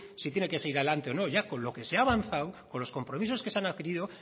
si tiene que seguir adelante o no ya con lo que se ha avanzado con los compromisos que se han adquirido